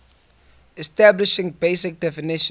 establishing basic definition